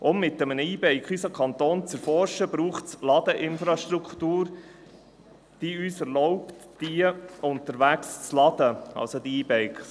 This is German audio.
Um mit einem E-Bike unseren Kanton zu erforschen, braucht es Ladeinfrastruktur, die uns erlaubt, die E-Bikes unterwegs aufzuladen.